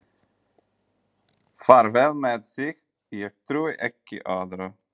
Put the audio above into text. Fer vel með sig, ég trúi ekki öðru.